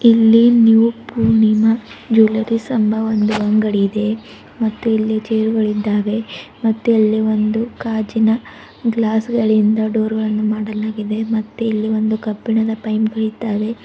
ಇಲ್ಲಿ new Poornima jewellers ಎಂಬ ಒಂದು ಅಂಗಡಿ ಇದೆ ಮತ್ತೆ ಇಲ್ಲಿ ಚೈರ್ ಗಳಿದ್ದಾವೆ ಮತ್ತೆ ಅಲ್ಲಿ ಒಂದು ಗಾಜಿನ ಗ್ಲಾಸ್ ಗಳಿಂದ ಡೋರ್ ವನ್ನು ಮಾಡಲಾಗಿದೆ ಮತ್ತೆ ಇಲ್ಲಿ ಒಂದು ಕಬ್ಬಿಣದ ಪೈಂಪ್ ಇದ್ದಾವೆ.